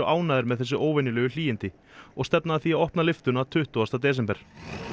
ánægðir með þessi óvenjulegu hlýindi og stefna að því að opna lyftuna tuttugasta desember